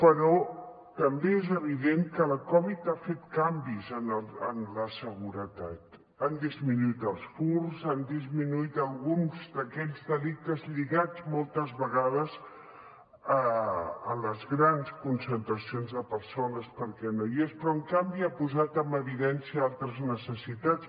però també és evident que la covid ha fet canvis en la seguretat han disminuït els furts han disminuït alguns d’aquests delictes lligats moltes vegades a les grans concentracions de persones perquè no hi són però en canvi ha posat en evidència altres necessitats